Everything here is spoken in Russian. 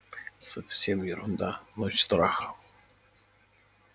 совсем ерунда ночь страха